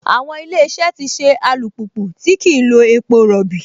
Àwọn Ilé-iṣẹ́ ti ṣe alùpùpù tí kìí lo epo rọbì